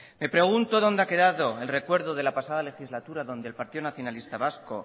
me pregunto dónde ha quedado el recuerdo de la pasada legislatura donde el partido nacionalista vasco